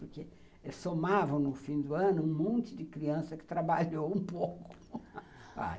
Porque somavam, no fim do ano, um monte de criança que trabalhou um pouco.